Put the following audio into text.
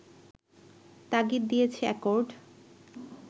তাগিদ দিয়েছে অ্যাকর্ড